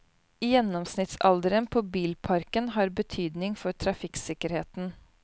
Gjennomsnittsalderen på bilparken har betydning for trafikksikkerheten.